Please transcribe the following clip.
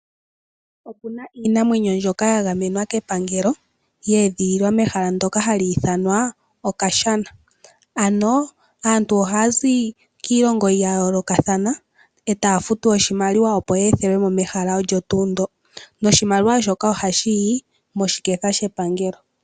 Opu na iinamwenyo mbyoka ya gamenwa kepangelo ya edhililwa mehala ndoka hali ithanwa haku ti Okashana. Aantu oha ya zi kiilongo ya yoolokathana etaa futu oshimaliwa opo ya ethelwemo mehala olyo tuu ndoka. Oshimaliwa shika ohashi yi moshiketha shepangelo.